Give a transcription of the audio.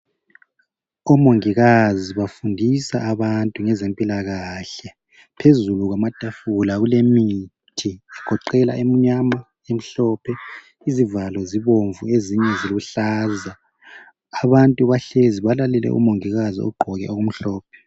Omongikazi bafundisane abantu ngezempilakahle, phezulu kwamatafula kulemithi egoqela emnyama, emhlophe izivalo zibomvu ezinye ziluhlaza, abantu bahlezi balalele umongikazi ogqoke okumhlophe.